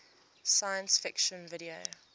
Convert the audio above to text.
science fiction video